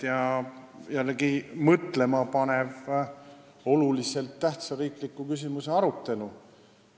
Meil oli jälle mõtlemapanev olulise tähtsusega riikliku küsimuse arutelu.